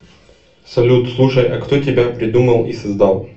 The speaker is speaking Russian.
салют слушай а кто тебя придумал и создал